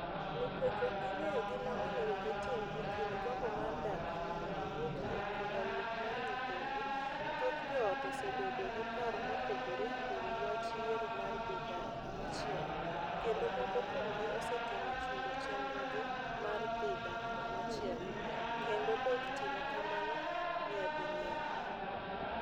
Nikech ok ging'eyo gima onego gitim e kind gombo mar dak kama ne giwuokie koda wuok mar nyithindgi, thoth joot osebedo gi paro mopogore e wi wach yiero mar dhi dak kamachielo, kendo moko kuomgi osetemo chungo chenrogi mar dhi dak kamachielo, kendo dok timo kamano nyading'eny.